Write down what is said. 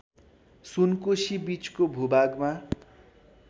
सुनकोशी बीचको भूभागमा